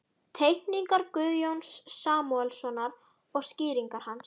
Teikningar Guðjóns Samúelssonar og skýringar hans.